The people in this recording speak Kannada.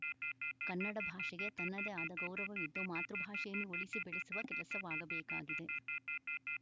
ಕನ್ನಡ ಭಾಷೆಗೆ ತನ್ನದೇ ಆದ ಗೌರವವಿದ್ದು ಮಾತೃಭಾಷೆಯನ್ನು ಉಳಿಸಿ ಬೆಳೆಸುವ ಕೆಲಸವಾಗಬೇಕಾಗಿದೆ